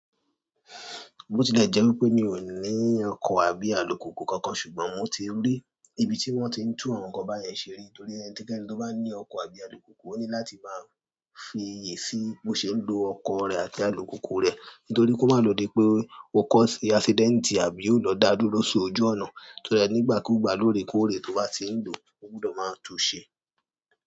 Bo tilẹ̀ jẹ́ wípé mi ò ní ọkọ̀ tàbí alùpùpù kankan, ṣùgbọ́n mo ti rí ibi tí wón ti ń tún àwọn nǹkan báyẹn ṣe rí. Torí ẹni tí kẹ́ni tó bá ní ọkọ̀ àbí alùpùpù ó ní láti máa fi èsì bó ṣe ń lo ọkọ̀ rẹ̀ àti alùpùpù rẹ̀. Nítorí kó má lòdì pé ó kọ́ accident àbí ó lọ dá dúró sórí ojú ọ̀nà. Torí ẹni nígbàkúgbà lórèkórè tó bá ti ń lò ó gbọdọ̀ máa tún un ṣe.